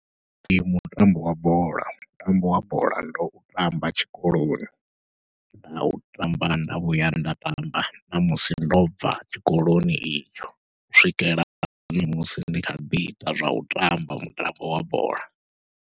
Ndi mutambo wa bola, mutambo wa bola ndo u tamba tshikoloni, nda u tamba nda vhuya nda tamba namusi ndo bva tshikoloni itsho, u swikela ṋamusi ndi kha ḓi ita zwau tamba mutambo wa bola.